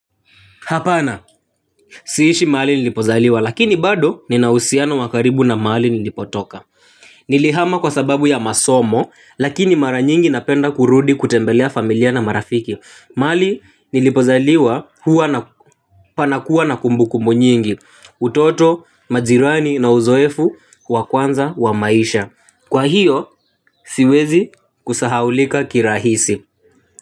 Hapana siishi mahali nilipozaliwa lakini bado nina uhusiano wa karibu na mahali nilipotoka. Nilihama kwa sababu ya masomo, lakini mara nyingi napenda kurudi kutembelea familia na marafiki. Mahali nilipozaliwa huwa na panakuwa na kumbu kumbu nyingi, utoto, majirani na uzoefu, wa kwanza, wa maisha. Kwa hiyo, siwezi kusahaulika kirahisi.